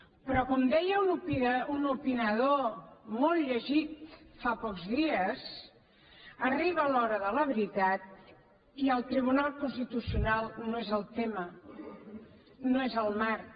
però com deia un opinador molt llegit fa pocs dies arriba l’hora de la veritat i el tribunal constitucional no és el tema no és el marc